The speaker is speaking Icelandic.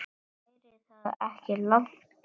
Væri það ekki langt gengið?